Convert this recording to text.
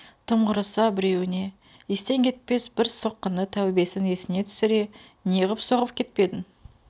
тым құрыса біреуіне естен кетпес бір соққыны тәубесін есіне түсіре неғып соғып кетпедім